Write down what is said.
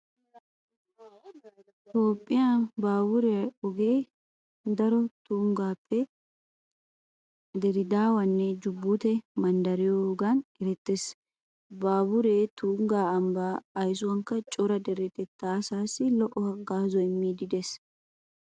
Toophphiya baaburiya ogee darotoo tunggappe diredaawanne jubuute manddariyogan erettees. Baaburee tungga ambbaa aysuwankka cora deretettaa asaassi lo"o haggaazaa immiiddi de'ees.